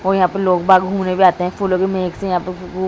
और यहाँ पर लोग बाग़ घूमने भी आते हैं फूलों के मेहक से यहाँ पे वो --